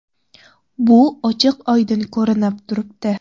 Bu ochiq-oydin ko‘rinib turibdi.